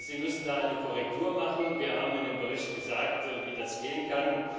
Sie müssen da eine Korrektur vornehmen. Wir haben in dem Bericht gesagt, wie das gehen kann.